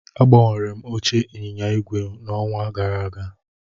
Agbanwere m oche ịnyịnya ígwè n'ọnwa gara aga